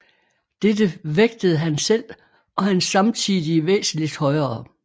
Dette vægtede han selv og hans samtidige væsentligt højere